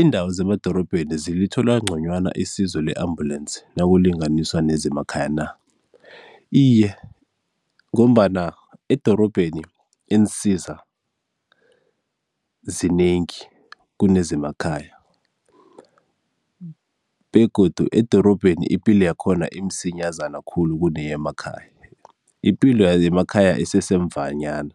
Iindawo zemadorobheni zilithola nconywana isizo le-ambulensi nakulinganiswa nezemakhaya na? Iye, ngombana edorobheni iinsiza zinengi kune zemakhaya begodu edorobheni ipilo yakhona imsinyazana khulu kuneyemakhaya, ipilo yemakhaya isesemvanyana